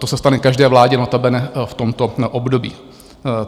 To se stane každé vládě, notabene v tomto období.